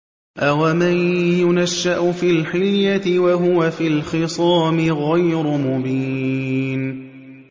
أَوَمَن يُنَشَّأُ فِي الْحِلْيَةِ وَهُوَ فِي الْخِصَامِ غَيْرُ مُبِينٍ